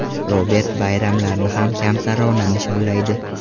Robert bayramlarni ham kamtarona nishonlaydi.